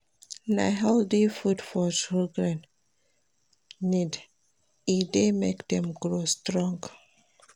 Na healthy food children need, e dey make dem grow strong.